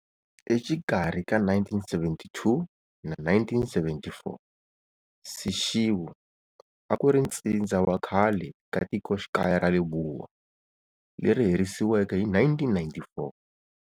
Exikarhi ka 1972 na 1974 Seshego a ku ri ntsindza wa khale ka tikoxikaya ra Lebowa, leri herisiweke hi 1994.